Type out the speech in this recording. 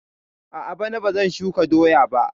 A'a, bana bazan shuka doya ba